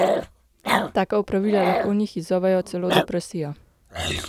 Taka opravila lahko v njih izzovejo celo depresijo.